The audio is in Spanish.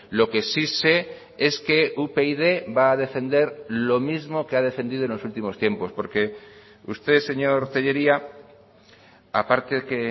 lo que sí se es que upyd va a defender lo mismo que ha defendido en los últimos tiempos porque usted señor tellería a parte que